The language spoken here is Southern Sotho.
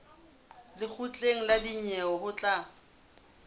lekgotleng la dinyewe ho tla